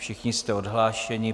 Všichni jste odhlášeni.